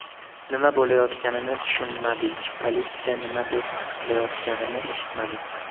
Nima bo‘layotganini tushunmadik, politsiya nima deb qichqirayotganini eshitmadik.